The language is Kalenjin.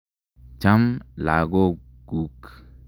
Cham lagok kuk.